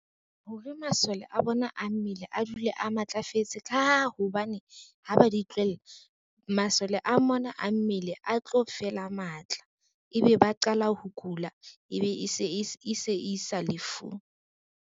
Hore masole a bona a mmele a dule a matlafetse ka ha hobane, ha ba di tlohella masole a mona a mmele a tlo fela matla, ebe ba qala ho kula ebe e se isa lefung.